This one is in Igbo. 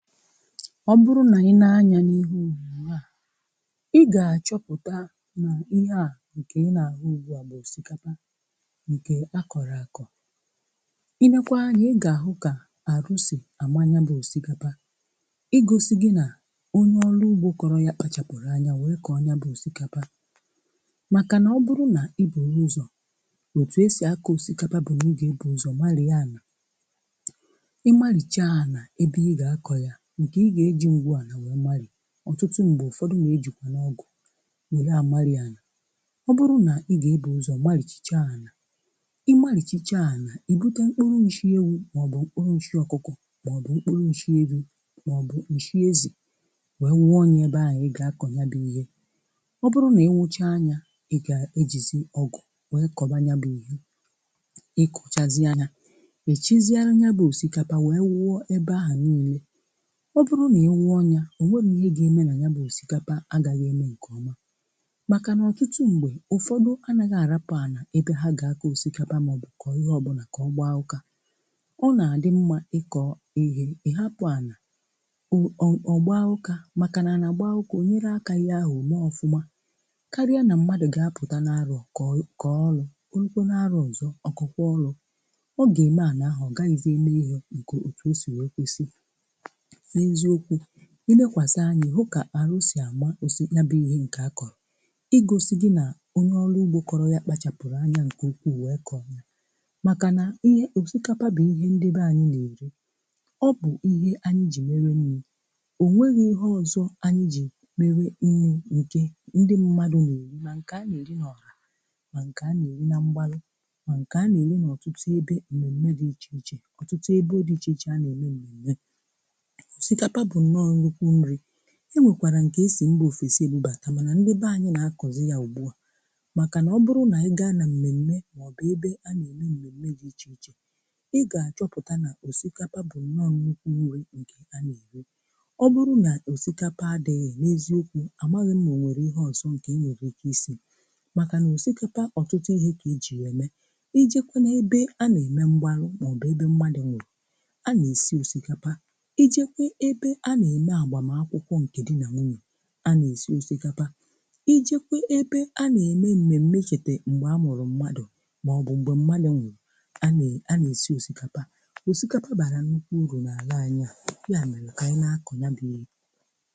Ọ bụrụ nà ị nee anya n'ihu, ị ga-achọpụta nà ihe a nkè ị nà-ahụ ugbu à bụ osikapa nkè akọrọ ako. I lee kwa anya, ị ga-ahụ kà arụ sì ama ya bụ osikapa. I gosi gi nà onye ọlụ ugbo kọrọ ya kpachapụrụ anya, wee kọọ ya bụ osikapa màkà nà ọ bụrụ nà ị buru ụzọ̀ otu e si ako osikapa, bụ nà ị ga-ebu ụzọ̀ marie anà. I marichaa anà ebe ị ga-akọ̀ ya um, nkè ị ga-eji ngwu anà wee mari, ọtụtụ mgbè ụfọdụ nà-ejìkwa n'ọgụ̀ nwèlè amarị anà. Ọ bụrụ nà ị ga-ebù ụzọ̀ marìchicha anà, ị marìchicha anà, ị bụta mkpụrụ nshị ewu, màọbụ̀ mkpụrụ nshị ọkụkọ, màọbụ̀ mkpụrụ nshị ewi, màọbụ̀ nshị ezì, wee wụọ ya ebe ahụ̀ ị ga-akọ̀ ya bụ ihe. Ọ bụrụ nà ị wụcha ya, ị ga-ejìzì ọgụ̀ wee koba ya bụ ihe. I kochazie ya, i chisiarụ ya bụ osikapa wee wụọ ebe ahụ̀ niile. Ọ bụrụ nà ị wụọ ya, ọ nwerọ nà ihe ga-eme nà ya bụ osikapa agaghị eme nkèọma, màkà nà ọtụtụ mgbè ụfọdụ anaghị àrapụ̀ anà ebe ha ga-aka osikapa màọbụ̀ kọ ihe ọbụla kà ọ gbaa ụkà. Ọ nà-àdị mmà ịkọ̀ ihe ị̀hapụ̀ anà, ọ ọ o gbaa ụkà um! Màkà nà anà gbaa ụkà, o nyere aka ihe ahụ̀ omè ọfụmà karịa nà mmadụ̀ ga-apụta nà-aròkò kọọlụ̀ orukwo n'arò ozọ. Ọkọ kwuo ọlụ̀ ọ ga-eme, anà ahụ̀ ọ gaghịzị eme ihe nkè otù o sì wee kwesì. N'eziokwu, ilekwàsị anya ihụ kà arụ sị ama osi ya bụ ihe nkè a kọrọ, ịgọsị gị nà onye ọlụ ugbo kọrọ ya kpachapụrụ anya nkè ukwu wee kọọ, makà nà ihe osikapa bụ ihe ndị be anyị nà-eri, ọ bụ ihe anyị ji mere nni. Onweghị ihe ọzọ anyị ji mere nni nkè ndị mmadụ nà-erì, ma nkè a nà-eri n'ọha ma nkè a nà-eri nà mgbalụ ma nkè a nà-eri n'ọtụtụ ebe mmemme dị iche iche, ọtụtụ ebe dị iche iche a nà-eme mmemme. Osikapa bụ nọ nnukwu nri. Enwekwara nkè e sì mba ofesi ebubata manà ndị beanyị nà-akọzị ya ugbu à um makà nà ọ bụrụ nà ị ga nà mmemme màọbụ̀ ebe a nà-eme mmemme dị iche iche, ị ga-achọpụta nà osikapa bụ nọ nnukwu nri nkè a nà-eri. Ọ bụrụ nà osikapa adịghị, n'eziokwu, àmaghị m ma o nwere ihe ọzọ nkè ị nwere ike isi, màkà nà osikapa ọtụtụ ihe kà e ji ya eme. Ijekwe nà ebe a nà-eme mgbarụ màọbụ̀ ebe mmadù nwụrụ, a nà-esi osikapa. Ijekwa ebè a nà-eme agbàm akwụkwọ nkè di nà nwunye, a nà-esi osikapa. Ijekwe ebe a nà-eme mmemme ichete mgbe amụrụ mmadụ̀ màọbụ̀ mgbe mmadụ̀ nwụrụ, a a nà a nà-esi osikapa. Osikapa bara nnukwu urù nà alà anyị à, ya mere kà anyị̀ nà-akọ̀ ya bụ ihe.